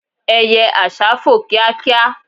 eye àsá fò kíákíá